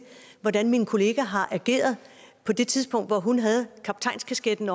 hvordan min kollega har ageret på det tidspunkt hvor hun havde kaptajnskasketten